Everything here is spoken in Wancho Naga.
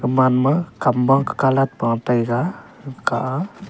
gaman ma kamwa kah colat pataiga gakah a.